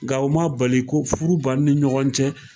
Nka m'a bali ko furu b'an ni ɲɔgɔn cɛ.